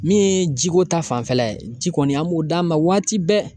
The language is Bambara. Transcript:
Min ye jiko ta fanfɛla ye ji kɔni an m'o d'a ma waati bɛɛ